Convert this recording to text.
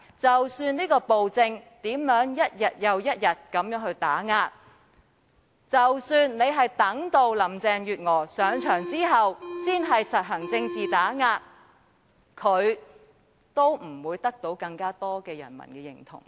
即使在他的暴政下，一天又一天地作出打壓，即使他意圖待林鄭月娥上任後才施以政治打壓，他也不會得到更多人民的認同。